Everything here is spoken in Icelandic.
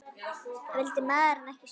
Vildi maðurinn ekki skora?